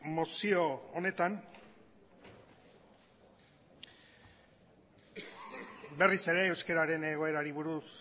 mozio honetan berriz ere euskararen egoerari buruz